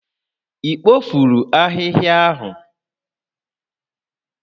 Ị kpofuru ahịhịa ahụ?